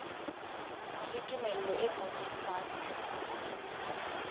le tumello e ngotsweng fatshe